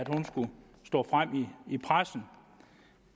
hun skulle stå frem i pressen